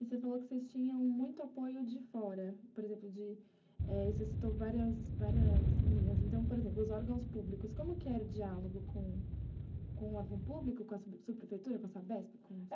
E você falou que vocês tinham muito apoio de fora, por exemplo de, você citou várias linhas, então, por exemplo, os órgãos públicos, como que era o diálogo com o órgão público, com a sua prefeitura, com a Sabesp?